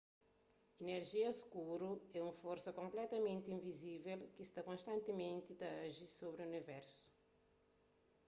inerjia skuru é un forsa konpletamenti invizível ki sta konstantimenti ta aji sobri universu